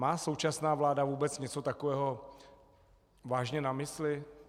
Má současná vláda vůbec něco takového vážně na mysli?